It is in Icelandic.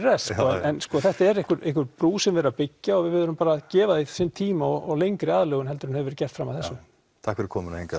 rest en þetta er einhver einhver brú sem er verið að byggja og við verðum bara að gefa því sinn tíma og lengri aðlögun heldur en hefur verið gert fram að þessu takk fyrir komuna